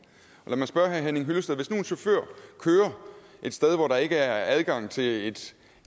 lad mig spørge herre henning hyllested hvis nu en chauffør kører et sted hvor der ikke er adgang til et